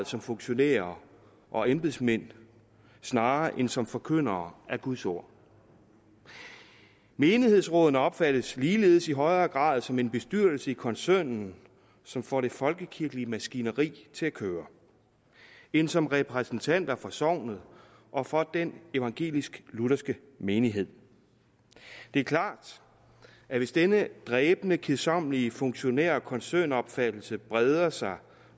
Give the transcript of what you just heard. som funktionærer og embedsmænd snarere end som forkyndere af guds ord menighedsrådene opfattes ligeledes i højere grad som en bestyrelse i koncernen som får det folkekirkelige maskineri til at køre end som repræsentanter for sognet og for den evangelisk lutherske menighed det er klart at hvis denne dræbende kedsommelige funktionær og koncernopfattelse breder sig